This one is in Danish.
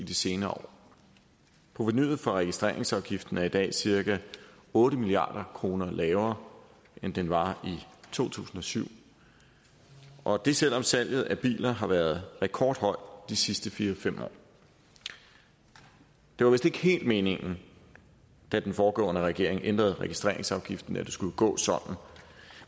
i de senere år provenuet for registreringsafgiften er i dag cirka otte milliard kroner lavere end det var i to tusind og syv og det er selv om salget af biler har været rekordhøjt de sidste fire fem år det var vist ikke helt meningen da den foregående regering ændrede registreringsafgiften at det skulle gå sådan